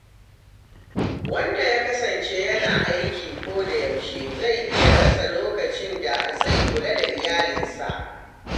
Wanda ya kasance yana aiki koda yaushe, zai iya rasa lokacin da zai kula da iyalinsa.